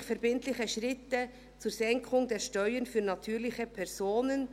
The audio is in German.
Endlich verbindliche Schritte zur Senkung der Steuern für natürliche Personen».